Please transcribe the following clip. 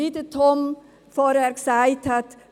Wie Tom Gerber vorhin gesagt hat: